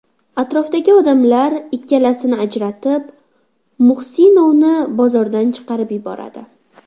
Atrofdagi odamlar ikkalasini ajratib, Muhsinovni bozordan chiqarib yuboradi.